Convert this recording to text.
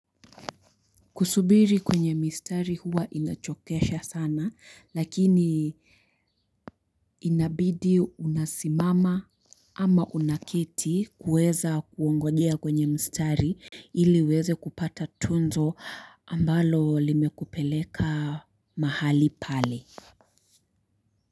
Kusubiri kwenye mistari huwa inachokesha sana lakini inabidi unasimama ama unaketi kuweza kuongojea kwenye mistari ili uweze kupata tunzo ambalo limekupeleka mahali pale.